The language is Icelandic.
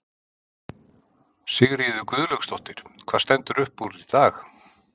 Sigríður Guðlaugsdóttir: Hvað stendur upp úr í dag?